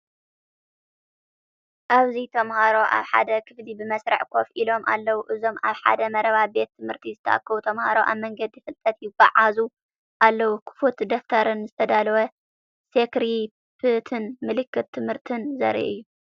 ኣብዚ ተማሃሮ ኣብ ሓደ ክፍሊ ብመስርዕ ኮፍ ኢሎም ኣለዉ። እዞም ኣብ ሓደ መረባ ቤት ትምህርቲ ዝተኣከቡ ተምሃሮ ኣብ መንገዲ ፍልጠት ይጓዓዙ ኣለው፤ ክፉት ደፍተርን ዝተዳለወ ስክሪፕትን ምልክት ትምህርቲ ዘርኢ እዩ።